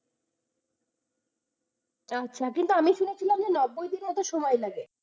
আচ্ছা, কিন্তু আমি শুনেছিলাম যে নব্বই দিনের মতো সময় লাগে।